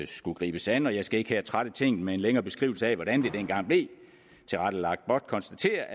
skulle gribes an jeg skal ikke her trætte tinget med en længere beskrivelse af hvordan det dengang blev tilrettelagt blot konstatere